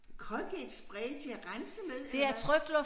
Colgate spray til at rense med eller hvad